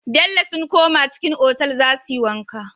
Bello sun koma cikin otal zasuyi wanka